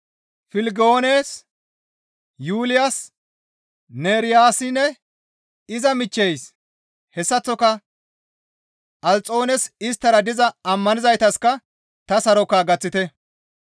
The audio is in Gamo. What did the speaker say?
Filegoones, Yuuliyas, Neeriyassinne iza michcheys hessaththoka Alxoones, isttara diza ammanizaytasikka ta saroka gaththite.